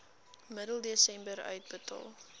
middel desember uitbetaal